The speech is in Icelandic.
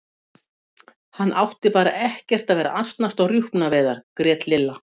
Hann átti bara ekkert að vera að asnast á rjúpnaveiðar grét Lilla.